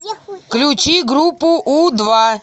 включи группу у два